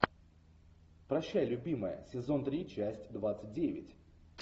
прощай любимая сезон три часть двадцать девять